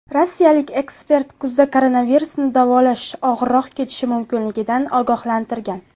Rossiyalik ekspert kuzda koronavirusni davolash og‘irroq kechishi mumkinligidan ogohlantirgan .